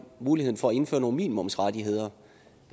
muligheden for at indføre nogle minimumsrettigheder